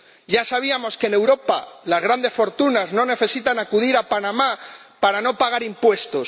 Ya sabíamos que en Europa las grandes fortunas no necesitan acudir a Panamá para no pagar impuestos.